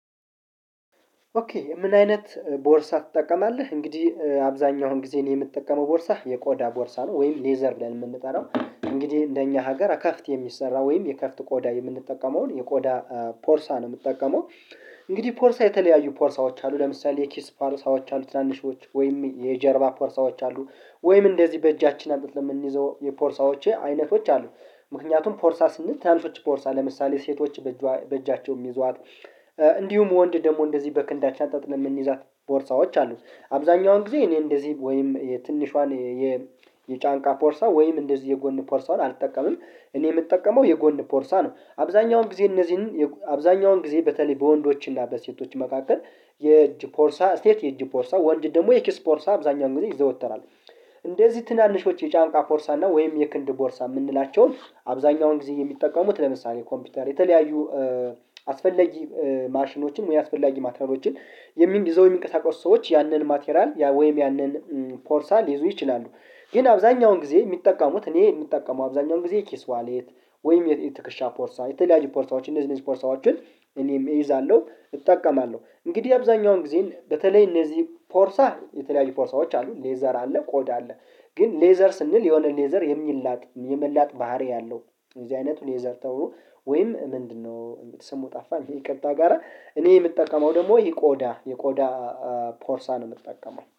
ኦኬ ምን አይነት ቦርሳ ትጠቀማለህ? እንግዲህ አብዛኛውን ጊዜ አኔ የምትጠቀመው ቦርሳ የቆዳ ቦርሳ ነው። ወይም ሌዘር ብለን የምንጠራው እንግዲህ እንደኛ ሀገር አከፍት የሚሰራ ወይም የከፍት ቆዳ የምንጠቀመውን የቆዳ ፖርሳ ነው የሚጠቀመው። እንግዲህ ፖርሳ የተለያዩ ፖርሳዎች አሉ ለምሳሌ ኪስ ፓርሳዎች አሉ ትናንሾች ወይም የጀርባ ፖርሳዎች አሉ ወይም እንደዚህ በእጃችን አሉት ለምንይዘው የፖርሳዎቼ አይነቶች አሉ። ምክንያቱም ፖርሳ ስንል ትናንሾች ፖርሳ ለምሳሌ ሴቶች በእጇ በእጃቸው ሚይዟት። እንዲሁም ወንድ ደግሞ እንደዚህ በክንዳችን አንጠልጥለን የምንይዛት ቦርሳዎች አሉ። አብዛኛውን ጊዜ እኔ እንደዚህ ወይም የትንሿን የ ጫንቃ ፖርሳ ወይም እንደዚህ የጎን ፖርሳን አልጠቀምም እኔ የምጠቀመው የጎን ፖርሳ ነው። አብዛኛውን ጊዜ እነዚህን አብዛኛውን ጊዜ በተለይ በወንዶችና በሴቶች መካከል የእጅ ፖርሳ ሴት የእጅ ፖርሳ ወንጅ ደግሞ የኪስ ቦርሳ አብዛኛውን ጊዜ ይዘወተራል። እንደዚህ ትናንሾች የጫንቃ ፖርሳ አና ወይም የክንድ ቦርሳ ምንላቸውን አብዛኛውን ጊዜ የሚጠቀሙት ለምሳሌ ኮምፒውተር የተለያዩ አስፈላጊ ማሽኖችን ወይ አስፈላጊ ማቴራሎችን የሚ ይዘው የሚንቀሳቀሱ ሰዎች ያንን ማቴራል ያ ወይም ያንን ፖርሳ ሊይዙ ይችላሉ። ግን አብዛኛውን ጊዜ የሚጠቀሙት እኔ የምጠቀመው አብዛኛውን ጊዜ ኪስ ዋሌት ወይም የትክሻ ፖርሳ የተለያዩ ፖርሳዎችን እንደዚህ እንደዚህ ፖርታዎችን እኔም እይዛለው። እጠቀማለሁ እንግዲህ አብዛኛውን ጊዜ በተለይ እነዚህ ፖርሳ የተለያዩ ፖርሳዎች አሉ ሌዘር አለ ቆዳ አለ ግን ሌዘር ስንል የሆነ ሌዘር የሚላጥ የመላጥ ባህሪ ያለው እዚህ አይነቱን የዘርተው ወይም ምንድነው ስሙ ጠፋ ይቅርታ ጋራ እኔ የምጠቀመው ደግሞ ይሄ ቆዳ የቆዳ ፖርሳ ነው የምጠቀመው።